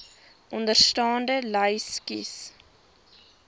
onderstaande lys kies